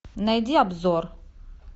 найди обзор